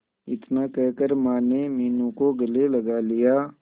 इतना कहकर माने मीनू को गले लगा लिया